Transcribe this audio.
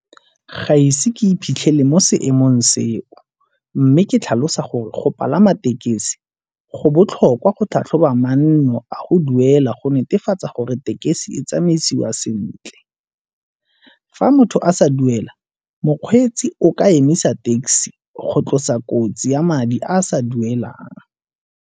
Ga ise ke iphitlhele mo seemong seo mme ke tlhalosa gore go palama tekesi go botlhokwa go tlhatlhoba manno a go duela go netefatsa gore tekesi tsamaisiwa sentle. Fa motho a sa duela mokgweetsi o ka emisa taxi go tlosa kotsi ya madi a a sa duelang.